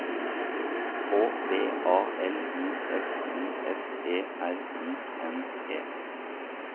K V A L I F I S E R I N G